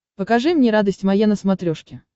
покажи мне радость моя на смотрешке